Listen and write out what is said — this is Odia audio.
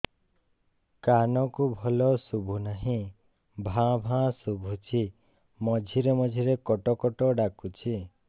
କାନକୁ ଭଲ ଶୁଭୁ ନାହିଁ ଭାଆ ଭାଆ ଶୁଭୁଚି ମଝିରେ ମଝିରେ କଟ କଟ ଡାକୁଚି